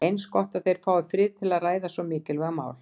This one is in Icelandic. Eins gott að þeir fái frið til að ræða svo mikilvægt mál.